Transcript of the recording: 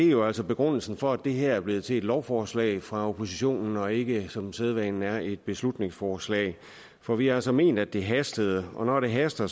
jo altså begrundelsen for at det her er blevet til et lovforslag fra oppositionens side og ikke som sædvanen er et beslutningsforslag for vi har altså ment at det hastede og når det haster